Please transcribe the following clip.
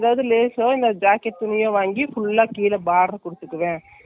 நாங்க full saree ம் அப்படியே போடப் போறோம்.ஓ அப்படியா.